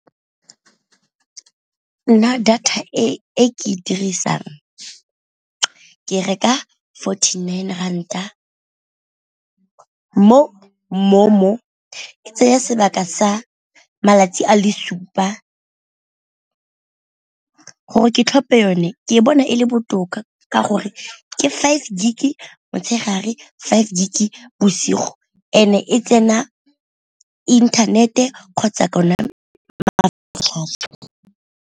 Nna data e ke e dirisang ke reka forty nine ranta mo MoMo, e tsaya sebaka sa malatsi a le supa. Gore ke tlhophe yone ke bona e le botoka ka gore ke five gig motshegare five gig bosigo and e tsena inthanete kgotsa .